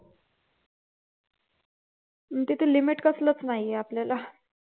आणि जिथे limit कसलच नाहीये आपल्याला